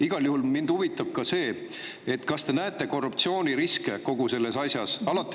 Igal juhul mind huvitab ka see, et kas te näete korruptsiooniriske kogu selles asjas.